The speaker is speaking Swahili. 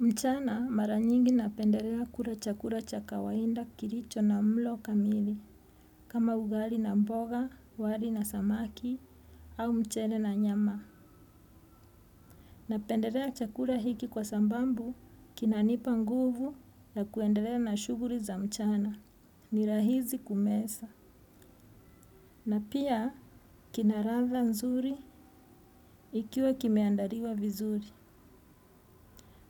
Mchana mara nyingi napendelea kula chakula cha kawaida kilicho na mlo kamili, kama ugali na mboga, wali na samaki au mchele na nyama. Napendelea chakula hiki kwa sababu kinanipa nguvu ya kuendelea na shughuli za mchana. Ni rahisi kumeza. Na pia kina ladha nzuri ikiwa kimeandaliwa vizuri.